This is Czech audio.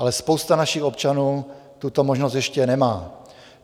Ale spousta našich občanů tuto možnost ještě nemá.